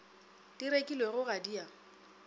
di rekilwego ga di a